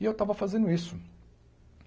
E eu estava fazendo isso.